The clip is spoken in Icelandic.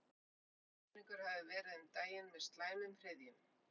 Útsynningur hafði verið um daginn með slæmum hryðjum.